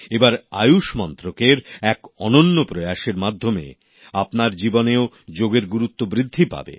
এবার আয়ুষ মন্ত্রকের এক অনন্য প্রয়াস এর মাধ্যমে আপনার জীবনেও যোগের গুরুত্ব বৃদ্ধি পাবে